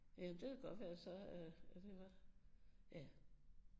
Jamen det kan da godt være så øh at det var ja